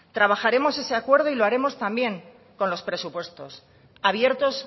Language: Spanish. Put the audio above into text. trabajaremos ese acuerdo y lo haremos también con los presupuestos abiertos